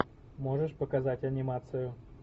можешь показать анимацию